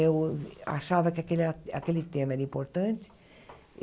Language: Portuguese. Eu achava que aquele a aquele tema era importante.